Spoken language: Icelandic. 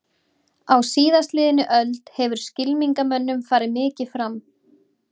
Á síðastliðinni öld hefur skylmingamönnum farið mikið fram.